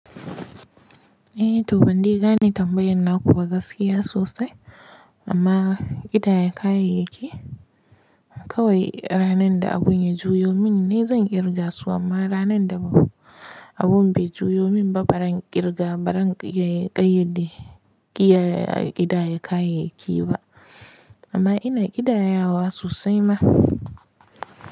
Eh to ban dai gane tambayan na kuba gaskiya sosai amma ƙidaya kayayyaki kawai ranan da abun ya juyo min ne zan ƙirga su amma ranan da abun bai juyo min ba baran ƙirga baran ƙayyade ƙidaya kayayyaki ba amma ina ƙidaya wa sosai ma.